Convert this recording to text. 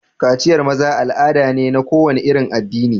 Kaciyar maza al'ada ne na kowane irin addini.